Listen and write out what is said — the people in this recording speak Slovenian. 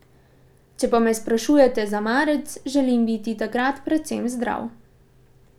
Če pa me sprašujete za marec, želim biti takrat predvsem zdrav.